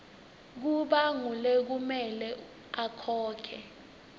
kuba ngulekumele akhokhe